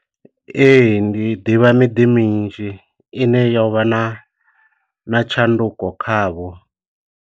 Ee, ndi ḓivha miḓi minzhi ine yo vha na na tshanduko kha vho.